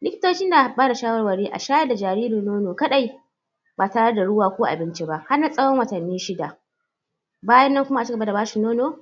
likitoci na bada shawarwari a shayar da jariri nono kaɗai ba tare da ruwa ko abinci ba har na tsawon watanni shida bayan nan kuma a cigaba da ba shi nono